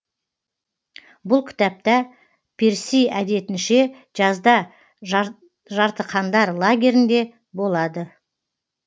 бұл кітапта перси әдетінше жазда жартықандар лагерінде болады